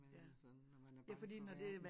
Hvad sådan når man er bange for verden